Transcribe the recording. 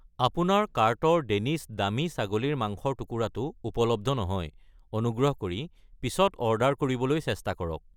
আপোনাৰ কাৰ্টৰ ডেনিছ দামী ছাগলীৰ মাংসৰ টুকুৰা টো উপলব্ধ নহয়, অনুগ্ৰহ কৰি পিছত অৰ্ডাৰ কৰিবলৈ চেষ্টা কৰক।